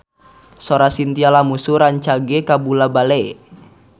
Sora Chintya Lamusu rancage kabula-bale